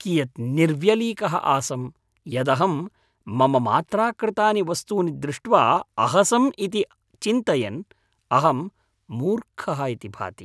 कियत् निर्व्यलीकः आसं यदहं मम मात्रा कृतानि वस्तुनि दृष्ट्वा अहसम् इति चिन्तयन् अहं मूर्खः इति भाति।